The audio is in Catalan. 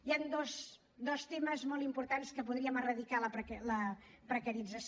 hi han dos temes molt importants que podríem erradicar de la precarització